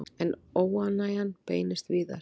En óánægjan beinist víðar.